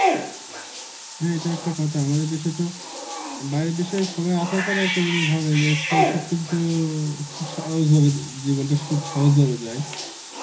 হ্যাঁ এটা একটা কথা আমাদের দেশে তো বাইরের দেশে সবাই আসার পরে একটা জিনিস ভাবে যাচ্ছে সব কিছু সহজ ভা~ ভাবে জীবনটা খুব সহজ ভাবে যায়.